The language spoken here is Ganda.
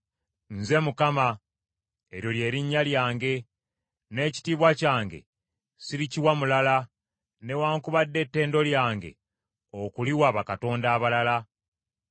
“Nze Mukama , eryo lye linnya lyange, n’ekitiibwa kyange sirikiwa mulala, newaakubadde ettendo lyange okukiwa bakatonda abalala.